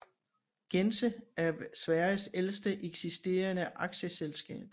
Gense er Sveriges ældste eksisterende aktieselskab